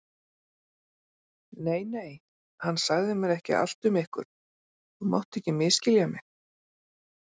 Nei, nei, hann sagði mér ekki allt um ykkur, þú mátt ekki misskilja mig.